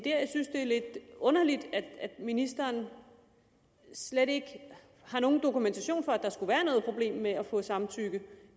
er lidt underligt at ministeren slet ikke har nogen dokumentation for at der skulle være noget problem med at få samtykke